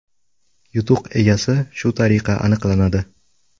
Yutuq egasi shu tariqa aniqlanadi.